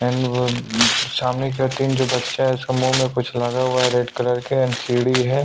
And वो सामने की ओर तीन जो बच्चा है उसका मुंह में कुछ लगा हुआ है रेड कलर के एम सीडी है।